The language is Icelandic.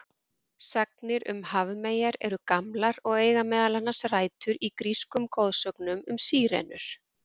Sagnir um hafmeyjar eru gamlar og eiga meðal annars rætur í grískum goðsögum um sírenur.